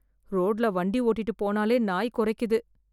ரோட்ல வண்டி ஓட்டிட்டு போனாலே நாய் கொறைக்குது.